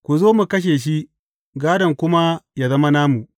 Ku zo mu kashe shi, gādon kuma yă zama namu.’